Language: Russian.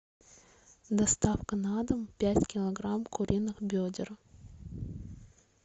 доставка на дом пять килограмм куриных бедер